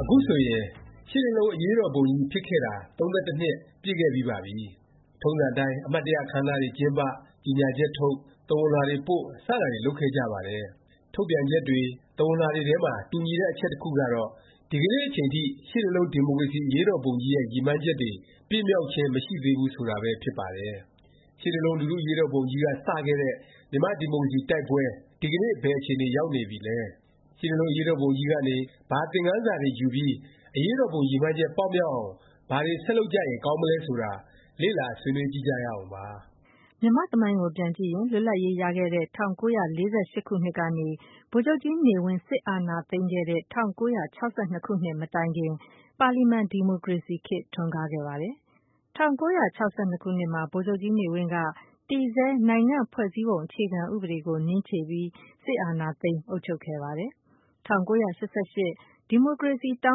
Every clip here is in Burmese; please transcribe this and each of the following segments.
အခုဆိုရင် ရှစ်လေးလုံး အရေးတော်ပုံကြီး ဖြစ်ပွားခဲ့ပြီးတာ ၃၁ နှစ် ပြည့်ခဲ့ပြီးပါပြီ။ ထုံးစံအတိုင်း အမှတ်တရ အခန်းအနားတွေ ကျင်းပ၊ ကြေငြာချက်ထုတ်၊ သဝဏ်လွှာတွေပို့ စတာတွေ လုပ်ခဲ့ကြပါတယ်။ ထုတ်ပြန်ချက်တွေ သဝဏ်လွှာတွေထဲမှာ တူညီတဲ့ အချက်တစ်ခုကတော့ ဒီကနေ့အချိန်ထိ ရှစ်လေးလုံး ဒီမိုကရေစီ အရေးတော်ပုံကြီးရဲ့ ရည်မှန်းချက်တွေ ပြည့်မြောက်ခြင်း မရှိသေးဘူး ဆိုတာပဲ ဖြစ်ပါတယ်။ ရှစ်လေးလုံး လူထု အရေးတော်ပုံကြီးက စခဲ့တဲ့ မြန်မာ့ဒီမိုကရေစီ တိုက်ပွဲ ဒီကနေ့ ဘယ်အခြေအနေ ရောက်နေပြီလဲ၊ ရှစ်လေးလုံး အရေးတော်ပုံကြီးကနေ ဘာသင်ခန်းစာတွေ ယူပြီး အရေးတော်ပုံ ရည်မှန်းချက် ပေါက်မြောက်အောင် ဘာတွေ ဆက်လုပ်ကြရင် ကောင်းမလဲ ဆိုတာ လေ့လာ ဆွေးနွေးကြည့်ကြရအောင်ပါ။ မြန်မာ့သမိုင်းကို ပြန်ကြည့်ရင် လွတ်လပ်ရေးရတဲ့ ၁၉၄၈ ခုနှစ်ကနေ ဗိုလ်ချုပ်ကြီးနေဝင်း စစ်အာဏာသိမ်းခဲ့တဲ့ ၁၉၆၂ မတိုင်ခင် ပါလီမန် ဒီမိုကရေစီခေတ် ထွန်းကားခဲ့ပါတယ်။ ၁၉၆၂ ခုနှစ်မှာ ဗိုလ်ချုပ်ကြီးနေဝင်းဟာ တည်ဆဲ နိုင်ငံ့ဖွဲ့စည်းပုံ အခြေခံ ဥပဒေကို နင်းခြေပြီး စစ်အာဏာသိမ်း အုပ်ချုပ်ခဲ့ပါတယ်။ ၁၉၈၈ ဒီမိုကရေစီ တော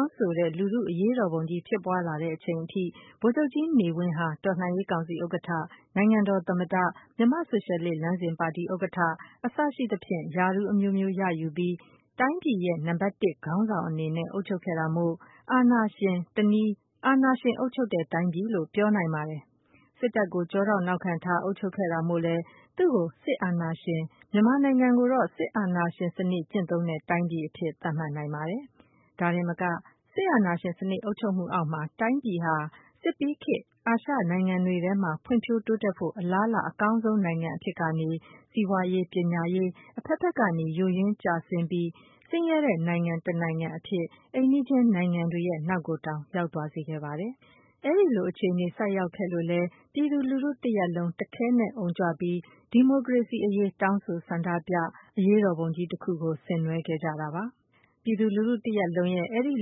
င်းဆိုတဲ့ လူထု အရေးတော်ပုံကြီး ဖြစ်ပွားလာတဲ့ အချိန်ထိ ဗိုလ်ချုပ်ကြီးနေဝင်းဟာ တော်လှန်ရေး ကောင်စီ ဥက္ကဌ၊ နိုင်ငံတော် သမ္မတ၊ မြန်မာ့ဆိုရှယ်လစ် လမ်းစဉ်ပါတီ ဥက္ကဌ အစရှိသဖြင့် ရာထူးအမျိုးမျိုးရယူပြီး တိုင်းပြည်ရဲ့ နံပတ်တစ် ခေါင်းဆောင်အနေနဲ့ အုပ်ချုပ်ခဲ့တာမို့ အာဏာရှင်၊ တစ်နည်း အာဏာရှင် အုပ်ချုပ်တဲ့ တိုင်းပြည်လို့ ပြောနိုင်ပါတယ်။ စစ်တပ်ကို ကျောထောက်နောက်ခံထား အုပ်ချုပ်ခဲ့တာမို့လည်း သူ့ကို စစ်အာဏာရှင်၊ မြန်မာနိုင်ငံကိုတော့ စစ်အာဏာရှင် စနစ်ကျင့်သုံးတဲ့ တိုင်းပြည် အဖြစ် သတ်မှတ်နိုင်ပါတယ်။ ဒါတင်မက စစ်အာဏာရှင် စနစ် အုပ်ချုပ်မှုအောက်မှာ တိုင်းပြည်ဟာ စစ်ပြီးခေတ် အာရှနိုင်ငံတွေထဲမှာ ဖွံ့ဖြိုးတိုးတက်ဖို့ အလားအလာ အကောင်းဆုံး နိုင်ငံ အဖြစ်ကနေ စီးပွားရေး၊ ပညာရေး အဖက်ဖက်ကနေ ယိုယွင်းကျဆင်းပြီး ဆင်းရဲတဲ့ နိုင်ငံတစ်နိုင်ငံ အဖြစ် အိမ်နီးချင်းနိုင်ငံတွေရဲ့ နောက်ကိုတောင် ရောက်သွားစေခဲ့ပါတယ်။ အဲလို အခြေအနေ ဆိုက်ရောက်ခဲ့လို့လည်း ပြည်သူလူထု တရပ်လုံး တခဲနက် အုံကြွပြီး ဒီမိုကရေစီ အရေး တောင်းဆို ဆန္ဒပြ၊ အရေးတော်ပုံကြီးတစ်ခု ဆင်နွဲှခဲ့ကြတာပါ။ ပြည်သူလူထု တစ်ရပ်လုံးရဲ့ အဲဒီ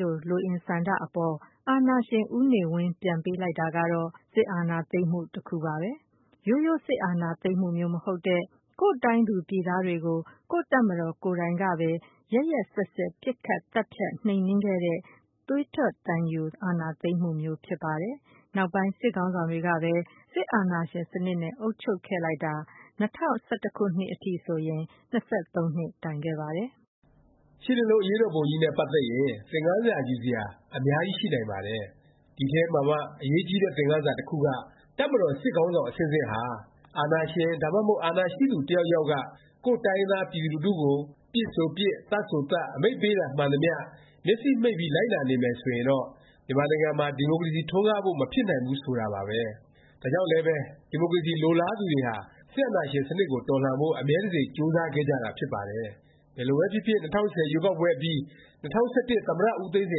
လိုအင်ဆန္ဒအပေါ် အာဏာရှင် ဦးနေဝင်း ပြန်ပေးလိုက်တာကတော့ စစ်အာဏာသိမ်းမှု တစ်ခုပါပဲ။ ရိုးရိုး စစ်အာဏာသိမ်းမှုမျိုး မဟုတ်တဲ့ ကိုယ့်တိုင်းသူပြည်သားတွေကို ကိုယ့်တပ်မတော် ကိုယ်တိုင်ကပဲ ရက်ရက်စက်စက် ပစ်ခတ်သတ်ဖြတ် နှိမ်နင်းခဲ့တဲ့ သွေးထွက်သံယို အာဏာသိမ်းမှုမျိုး ဖြစ်ပါတယ်။ နောက်ပိုင်း စစ်ခေါင်းဆောင်တွေကပဲ စစ်အာဏာရှင်စနစ် နဲ့ အုပ်ချုပ်ခဲ့လိုက်တာ ၂၀၁၁ ခုနှစ်အထိ ၂၃နှစ် တိုင်ခဲ့ပါတယ်။ ရှစ်လေးလုံး အရေးတော်ပုံကြီးနဲ့ ပတ်သက်ရင် သင်ခန်းစာ ယူစရာ အများကြီး ရှိနိုင်ပါတယ်။ ဒီအထဲမှာမှ အရေးကြီးတဲ့ သင်ခန်းစာ တစ်ခုက တပ်မတော် စစ်ခေါင်းဆောင် အဆင့်ဆင့်ဟာ အာဏာရှင် ဒါမှမဟုတ် အာဏာရှိသူ တစ်ယောက်ယောက်က ကိုယ့်တိုင်းရင်းသား ပြည်သူလူထုကို ပစ်ဆိုပစ်၊ သတ်ဆိုသတ် အမိန့်ပေးတာ မှန်သမျှ မျက်စေ့မှိတ်ပြီး လိုက်နာနေမယ် ဆိုရင်တော့ မြန်မာနိုင်ငံမှာ ဒီမိုကရေစီ ထွန်းကားဖို့ မဖြစ်နိုင်ဘူး ဆိုတာပါပဲ။ ဒါကြောင့်လဲပဲ ဒီမိုကရေစီ လိုလားသူတွေဟာ စစ်အာဏာရှင်စနစ်ကို တော်လှန်ဖို့ အမြဲတစေ ကြိုးစားခဲ့ကြတာ ဖြစ်ပါတယ်။ ဘယ်လိုပဲဖြစ်ဖြစ် ၂၀၁၀ ရွေးကောက်ပွဲအပြီး ၂၀၁၁ သမ္မတ ဦးသိန်းစိ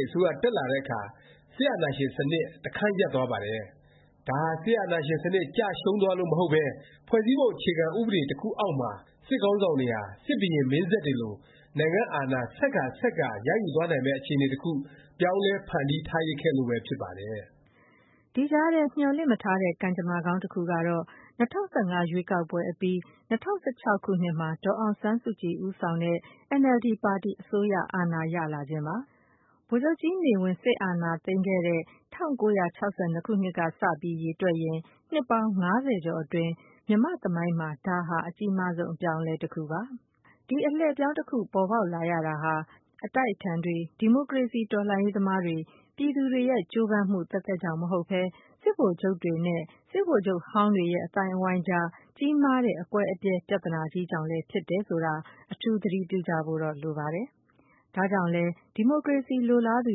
န် အစိုးရ တက်လာတဲ့အခါ စစ်အာဏာရှင်စနစ် တခန်းရပ်သွားပါတယ်။ ဒါဟာ စစ်အာဏာရှင်စနစ် ကျရှုံးသွားလို့ မဟုတ်ပဲ ဖွဲ့စည်းပုံ အခြေခံ ဥပဒေ တစ်ခုအောက်မှာ စစ်ခေါင်းဆောင်တွေဟာ စစ်ဘုရင်မင်းဆက်တွေလို နိုင်ငံ့အာဏာ ဆက်ကာ ဆက်ကာ ရယူသွားနိုင်မယ့် အခြေအနေ တစ်ခု ပြောင်းလဲ ဖန်တီးထားရစ်ခဲ့လို့ပဲ ဖြစ်ပါတယ်။ ဒီကြားထဲ မျှော်လင့်မထားတဲ့ ကံကြမ္မာကောင်း တစ်ခုကတော့ ၂၀၁၅ ရွေးကောက်ပွဲအပြီး ၂၀၁၆ ခုနှစ်မှာ ဒေါ်အောင်ဆန်းစုကြည် ဦးဆောင်တဲ့ အင်န်အယ်လ်ဒီ ပါတီ အစိုးရအာဏာ ရလာခြင်းပါ။ ဗိုလ်ချုပ်ကြီးနေဝင်း စစ်အာဏာသိမ်းပြီး ၁၉၆၂ ခုနှစ်ကစ ရေတွက်ရင် နှစ်ပေါင်း ၅၀ကျော်အတွင်း မြန်မာ့သမိုင်းမှာ ဒါဟာ အကြီးမားဆုံး အလှည့်အပြောင်းတစ်ခုပါ။ ဒီ အလှည့်အပြောင်း တစ်ခု ပေါ်ပေါက်လာရတာဟာ အတိုက်အခံတွေ၊ ဒီမိုကရေစီ တော်လှန်ရေးသမားတွေ ပြည်သူတွေရဲ့ ကြိုးပမ်းမှု သက်သက်ကြောင့်မဟုတ်ပဲ စစ်ဗိုလ်ချုပ်တွေနဲ့ စစ်ဗိုလ်ချုပ်ဟောင်းတွေရဲ့ အသိုင်းအဝိုင်းအကြား ကြီးမားတဲ့ အကွဲအပြဲ ပြသနာကြီးကြောင့်လည်း ဖြစ်တယ်ဆိုတာ အထူး သတိပြုကြဖို့တော့ လိုပါတယ်။ ဒါကြောင့်လဲ ဒီမိုကရေစီ လိုလားသူ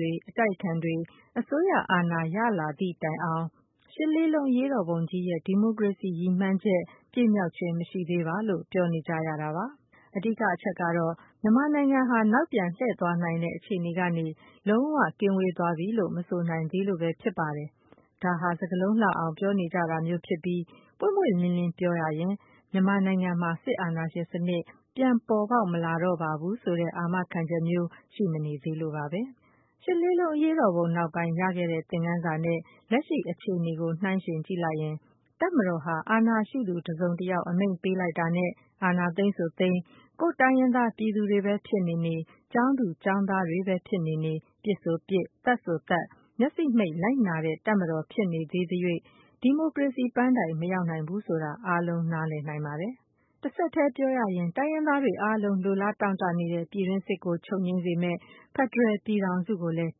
တွေ၊ အတိုက်အခံတွေ အစိုးရအာဏာ ရလာသည့်တိုင် ရှစ်လေးလုံး အရေးတော်ပုံကြီးရဲ့ ဒီမိုကရေစီ ရည်မှန်းချက် ပြည့်မြောက်ခြင်း မရှိသေးပါ လို့ ပြောနေကြရတာပါ။ အဓိက အချက်ကတော့ မြန်မာနိုင်ငံဟာ နောက်ပြန်လှည့်သွားနိုင်တဲ့ အခြေအနေကနေ လုံး၀ ကင်းဝေးသွားပြီလို့ မဆိုနိုင်သေးလို့ပဲ ဖြစ်ပါတယ်။ ဒါဟာ စကားလုံးလှအောင် ပြောနေကြတာမျိုးဖြစ်ပြီး ပွင့်ပွင့်လင်းလင်း ပြောရရင် မြန်မာနိုင်ငံမှာ စစ်အာဏာရှင်စနစ် ပြန်ပေါ်ပေါက်မလာတော့ပါဘူး ဆိုတဲ့ အာမခံချက်မျိုး ရှိမနေသေးလို့ပါပဲ။ ရှစ်လေးလုံး အရေးတော်ပုံ နောက်ပိုင်း ရခဲ့တဲ့ သင်ခန်းစာနဲ့ လက်ရှိ အခြေအနေကို နှိုင်းယှဉ်ကြည့်လိုက်ရင် တပ်မတော်ဟာ အာဏာရှိသူ တစ်စုံတစ်ယောက် အမိန့်ပေးလိုက်တာနဲ့ အာဏာသိမ်းဆိုသိမ်း၊ ကိုယ့်တိုင်းရင်းသား ပြည်သူတွေပဲ ဖြစ်နေနေ၊ ကျောင်းသူကျောင်းသားပဲ ဖြစ်နေနေ ပစ်ဆိုပစ်၊ သတ်ဆိုသတ် မျက်စေ့မှိတ် လိုက်နာနေတဲ့ တပ်မတော် ဖြစ်နေသေးသ၍ ဒီမိုကရေစီ ပန်းတိုင် မရောက်နိုင်ဘူး ဆိုတာ အားလုံးနားလည်နိုင်ပါတယ်။ တဆက်တည်း တိုင်းရင်းသားတွေ အားလုံး လိုလားတောင့်တ နေတဲ့ ပြည်တွင်းစစ်ကို ချုပ်ငြိမ်းစေမယ့် ဖက်ဒရယ် ပြည်ထောင်စုကိုလည်း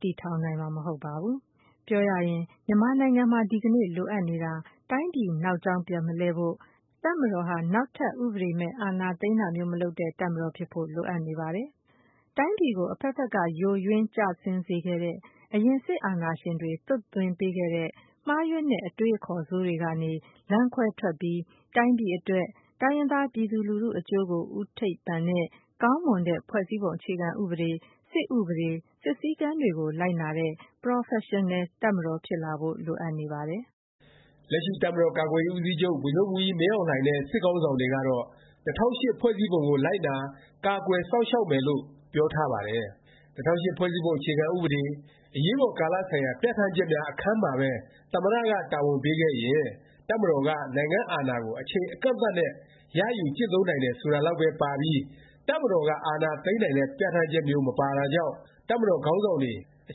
တည်ထောင်နိုင်မှာ မဟုတ်ပါဘူး။ ပြောရရင် မြန်မာနိုင်ငံမှာ ဒီကနေ့ လိုအပ်နေတာ တိုင်းပြည် နောက်ကြောင်း ပြန်မလှည့်ဖို့၊ တပ်မတော်ဟာ နောက်ထပ် ဥပဒေမဲ့ အာဏာသိမ်းတာမျိုး မလုပ်တဲ့ တပ်မတော် ဖြစ်ဖို့ လိုအပ်နေပါတယ်။ တိုင်းပြည်ကို အဖက်ဖက်က ယိုယွင်း ကျဆင်းစေခဲ့တဲ့ အရင် စစ်အာဏာရှင်တွေ သွတ်သွင်းပေးခဲ့တဲ့ မှားယွင်းတဲ့ အတွေးအခေါ် ဆိုးတွေကနေ လမ်းခွဲထွက်ပြီး တိုင်းပြည်အတွက်၊ တိုင်းရင်းသား ပြည်သူလူထု အကျိုးကို ဦးထိပ်ပန်တဲ့ ကောင်းမွန်တဲ့ ဖွဲ့စည်းပုံ အခြေခံဥပဒေ၊ စစ်ဥပဒေ၊ စစ်စည်းကမ်းတွေကို လိုက်နာတဲ့ ပရော်ဖက်ရှင်နယ် တပ်မတော် ဖြစ်လာဖို့ လိုအပ်နေပါတယ်။ လက်ရှိ တပ်မတော်ကာကွယ်ရေး ဦးစီးချုပ် ဗိုလ်ချုပ်မှူးကြီး မင်းအောင်လှိုင်နဲ့ စစ်ခေါင်းဆောင်တွေကတော့ ၂၀၀၈ ဖွဲ့စည်းပုံကို လိုက်နာ၊ ကာကွယ်၊ စောင့်ရှောက်မယ်လို့ ပြောထားပါတယ်။ ၂၀၀၈ ဖွဲ့စည်းပုံ အခြေခံ ဥပဒေ၊ အရေးပေါ်ကာလဆိုင်ရာ ပြဌာန်းချက်များ အခန်းမှာပဲ သမ္မတ က တာဝန်ပေးခဲ့ရင် တပ်မတော်က နိုင်ငံ့အာဏာကို အချိန်အကန့်အသတ်နဲ့ ရယူကျင့်သုံး နိုင်တယ် ဆိုတာလောက်ပဲ ပါပြီး တပ်မတော်က အာဏာသိမ်းနိုင်တဲ့ ပြဌာန်းချက်မျိုး မပါတာကြောင့် တပ်မတော်ခေါင်းဆောင်တွေ အ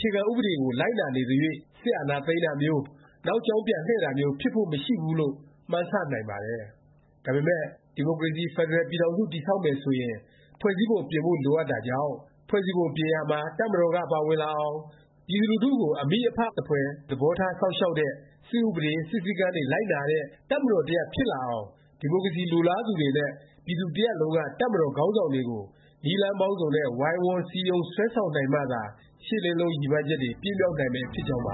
ခြေခံဥပဒေကို လိုက်နာနေသ၍ စစ်အာဏာသိမ်းတာမျိုး၊ နောက်ကြောင်းပြန်လှည့်တာမျိုး ဖြစ်ဖို့ မရှိဘူးလို့ မှန်းဆ နိုင်ပါတယ်။ ဒါပေမယ့် ဒီမိုကရေစီ ဖက်ဒရယ် ပြည်ထောင်စု တည်ဆောက်မယ်ဆိုရင် ဖွဲ့စည်းပုံ ပြင်ဖို့လိုအပ်တာကြောင့်၊ ဖွဲ့စည်းပုံ ပြင်ရာမှာ တပ်မတော်က ပါဝင်လာအောင်၊ ပြည်သူလူထုကို အမိအဖ သဖွယ် သဘောထား စောင့်ရှောက်တဲ့၊ စစ်ဥပဒေ၊ စစ်စည်းကမ်းတွေ လိုက်နာတဲ့ တပ်မတော်တစ်ရပ် ဖြစ်လာအောင် ဒီမိုကရေစီ လိုလားသူတွေနဲ့ ပြည်သူတစ်ရပ်လုံးက တပ်မတော် ခေါင်းဆောင်တွေကို နည်းလမ်းပေါင်းစုံနဲ့ ဝိုင်းဝန်း စည်းရုံး ဆွဲဆောင်နိုင်မှသာ ရှစ်လေးလုံး ရည်မှန်းချက်တွေ ပြည့်မြောက်နိုင်မယ် ဖြစ်ကြောင်းပ